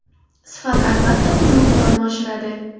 Sifat albatta o‘z miqdorini oshiradi.